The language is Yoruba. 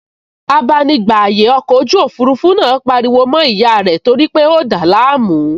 Abánigbàyè ọkọ̀ ojú òfurufú náà pariwo mọ́ ìyá rẹ̀ torípé ó dàá láàmú